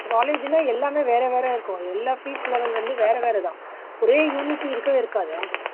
college ல எல்லாமே வேற வேற இருக்கும் எல்லா fees level வந்து வேற வேற தான் ஒரே unity இருக்கவே இருக்காதா